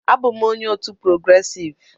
Abụ m onye otu "progressive"